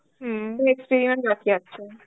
হম experiment বাকি আছে.